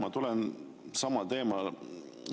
Aitäh!